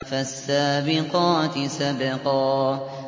فَالسَّابِقَاتِ سَبْقًا